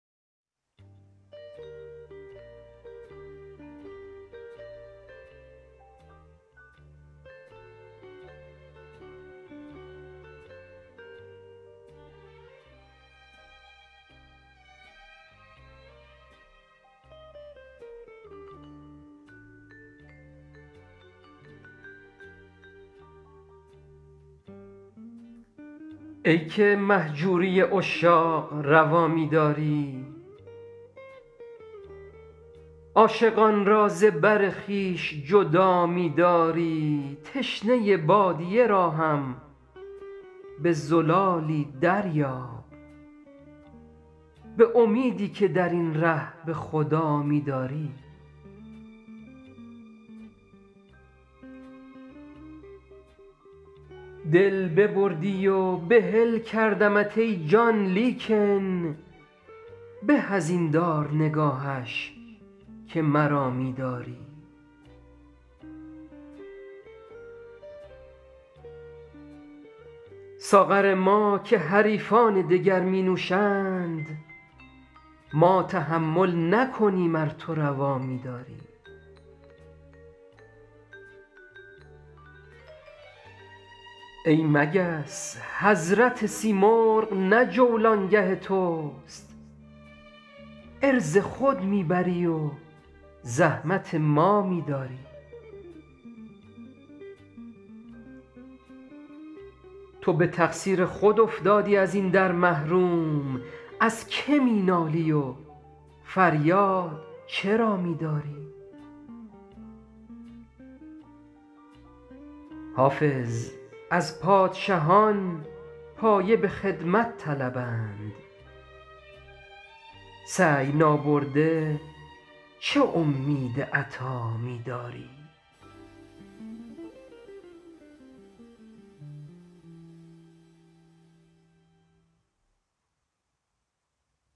ای که مهجوری عشاق روا می داری عاشقان را ز بر خویش جدا می داری تشنه بادیه را هم به زلالی دریاب به امیدی که در این ره به خدا می داری دل ببردی و بحل کردمت ای جان لیکن به از این دار نگاهش که مرا می داری ساغر ما که حریفان دگر می نوشند ما تحمل نکنیم ار تو روا می داری ای مگس حضرت سیمرغ نه جولانگه توست عرض خود می بری و زحمت ما می داری تو به تقصیر خود افتادی از این در محروم از که می نالی و فریاد چرا می داری حافظ از پادشهان پایه به خدمت طلبند سعی نابرده چه امید عطا می داری